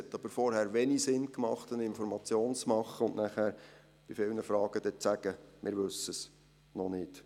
Es hat aber vorher wenig Sinn gemacht, zu informieren, um dann bei vielen Fragen zu sagen, wir wüssten es noch nicht.